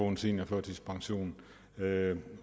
en seniorførtidspension